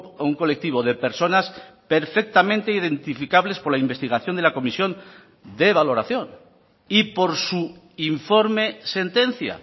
a un colectivo de personas perfectamente identificables por la investigación de la comisión de valoración y por su informe sentencia